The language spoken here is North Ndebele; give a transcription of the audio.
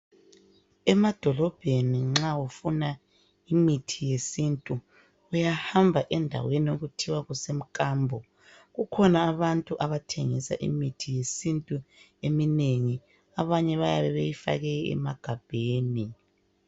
Emadolobheni nxa ufuna imithi yesintu uyahamba endaweni okuthiwa kusemkambo. Kukhona abantu abathengisa imithi yesintu eminengi abanye bayabe beyifake emagabheni .